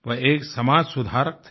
वह एक समाज सुधारक थे